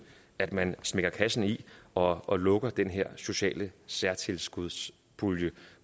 at man smækker kassen i og og lukker den her sociale særtilskudspulje